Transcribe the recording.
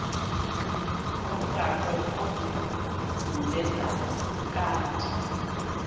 ngomgaqo ozungulezayo ukanti